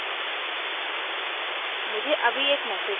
मैंने सबमिट कर दिया